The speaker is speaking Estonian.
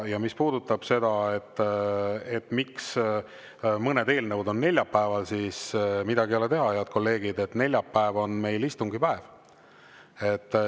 Ja mis puudutab seda, miks mõned eelnõud on neljapäeval, siis midagi ei ole teha, head kolleegid, neljapäev on meil istungipäev.